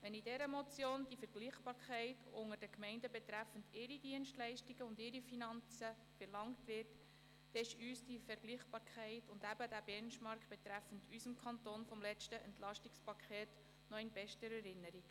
Wenn diese Motion die Vergleichbarkeit von Gemeinden betreffend ihre Dienstleistungen und Finanzen verlangt, dann sind uns diese Vergleichbarkeit und dieser Benchmark betreffend unseren Kanton vom letzten Entlastungspaket noch in bester Erinnerung.